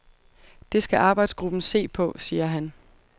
Det skal arbejdsgruppen se på, siger han.